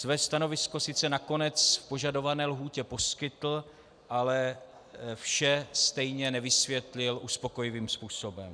Své stanovisko sice nakonec v požadované lhůtě poskytl, ale vše stejně nevysvětlil uspokojivým způsobem.